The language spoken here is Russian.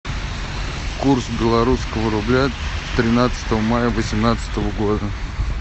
курс белорусского рубля тринадцатого мая восемнадцатого года